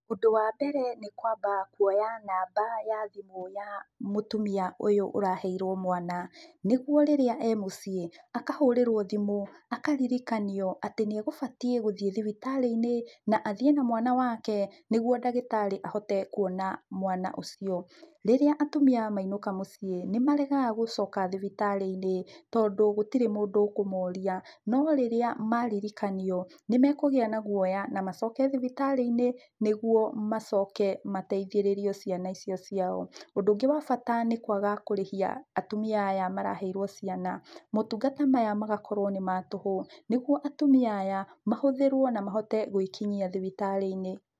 Ũndũ wa mbere nĩkwamba kuoya namba ya thimũ ya mũtumia ũyũ ũraheirwo mwana, nĩguo rĩrĩa e mũciĩ, akahũrĩrwo thimũ, akaririkanio atĩ nĩegũbataire gũthiĩ thibitarĩ-inĩ, na athiĩ na mwana wake, nĩguo ndagĩtarĩ ahote kuona mwana ũcio. Rĩrĩa atumia mainũka mũciĩ, nĩmaregaga gũcoka thibitarĩ-inĩ, tondũ gũtirĩ mũndũ ũkũmoria. No rĩrĩa maririkanio, nĩmekũgĩa na guoya, na macoke thibitarĩ-inĩ, nĩguo macoke mateithĩrĩrio ciana icio ciao. Ũndũ ũngĩ wa bata nĩ kwaga kũrĩhia atumia aya maraheirwo ciana. Maũtungata maya magakorwo nĩ ma tũhũ, nĩguo atumia aya mahũthĩrwo na mahote gwĩkinyia thibitarĩ-inĩ.